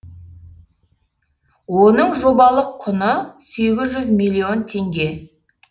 оның жобалық құны сегіз жүз миллион теңге